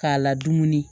K'a la dumuni